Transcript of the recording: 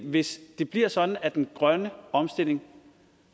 hvis det bliver sådan at den grønne omstilling